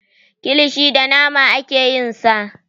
Kilishi da nama ake yin sa.